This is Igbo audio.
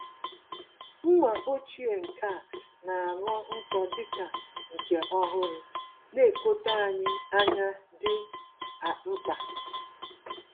Mma ochie nkea na-aghọ nkọ dịka nke ọhụrụ -nekọta ányá dị mkpa.